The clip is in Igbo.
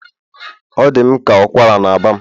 Ọ dị m ka ụkwara na-agba m